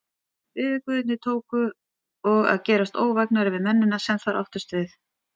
Veðurguðirnir tóku og að gerast óvægnari við mennina, sem þar áttust við.